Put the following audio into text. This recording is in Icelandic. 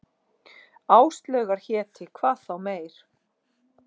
Áslaugar héti, hvað þá meir.